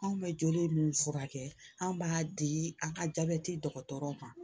Anw bɛ joli min furakɛ an b'a di a ka jabɛti dɔgɔtɔrɔw ma